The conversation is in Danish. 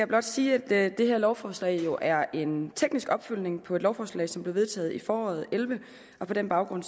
blot sige at det her lovforslag jo er en teknisk opfølgning på et lovforslag som blev vedtaget i foråret to og elleve på den baggrund